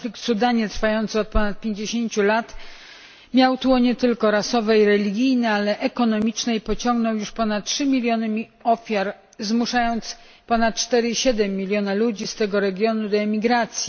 Konflikt w Sudanie trwający od ponad 50 lat miał tło nie tylko rasowe i religijne, ale także ekonomiczne i pociągnął już ponad 3 miliony ofiar, zmuszając ponad 4,7 milionów ludzi z tego regionu do emigracji.